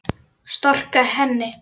Storka henni.